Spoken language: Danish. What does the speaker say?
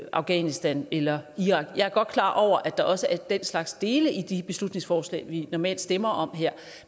i afghanistan eller i irak jeg er godt klar over at der også er den slags dele i de beslutningsforslag vi normalt stemmer om her